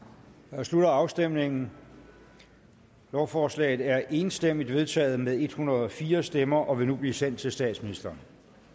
jeg slutter afstemningen lovforslaget er enstemmigt vedtaget med en hundrede og fire stemmer og vil nu blive sendt til statsministeren